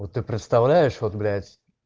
вот ты представляешь вот блять